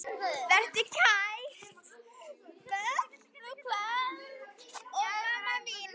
Vertu kært kvödd, mamma mín.